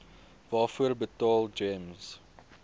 waarvoor betaal gems